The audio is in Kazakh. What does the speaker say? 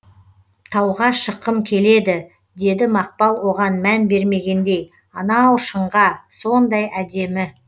тауға шыққым келеді деді мақпал оған мән бермегендей анау шыңға сондай әдемі